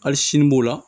Hali sini b'o la